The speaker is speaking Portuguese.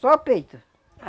Só peito.